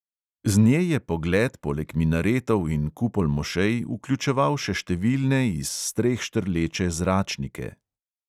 Z nje je pogled poleg minaretov in kupol mošej vključeval še številne iz streh štrleče "zračnike".